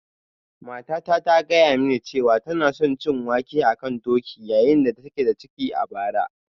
Matata ta gaya mini cewa tana son cin wake a kan doki yayin da take da ciki a bara